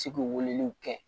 Ci k'u weleliw kɛ